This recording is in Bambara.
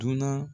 Dunan